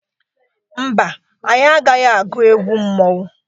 Mba, anyị agaghị agwụ egwụ mmọnwụ.